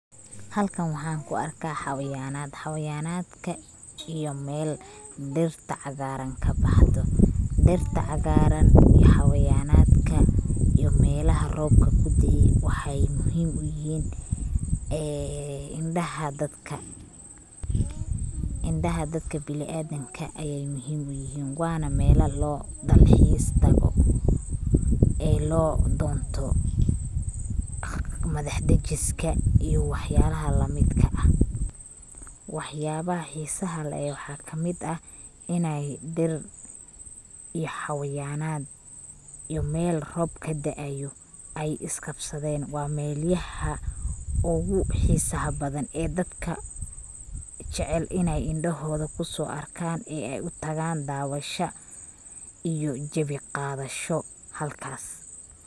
Halkan waxan ku arkaa xawayanad, xawayanadka iyo Mel dhirta caagaran kaboxdo ,dhirta caagaran iyo xawayanadka iyo melaha robka kude'e waxay muhim uyihin ee indhaha dadka bini adanka ayay muhim uyihin wana melal loo dalxiis tago ee loo donto madax dejiska iyo waxyalaha lamidka ah, wax yabaha xiisa leh waxaa kamid ah inay dhir iyo xawayanad iyo Mel rob kada'ayo ay is qabsadeen waa Mel yaha ogu xiisa badan ee dadka jecel inay indhahooda kuso arkaan ee ay utagaan daawasha iyo jebi qadasho halkaas